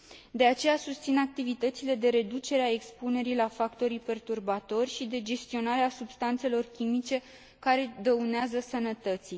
De aceea, susțin activitățile de reducere a expunerii la factorii perturbatori și de gestionare a substanțelor chimice care dăunează sănătății.